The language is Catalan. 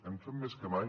hem fet més que mai